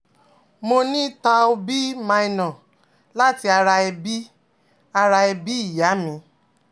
Mo ni Thal B Minor lati ara ebi ara ebi iya mi